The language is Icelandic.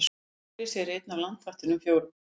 Bergrisi er einn af landvættunum fjórum.